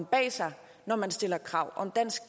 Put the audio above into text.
bag sig når man stiller krav om dansk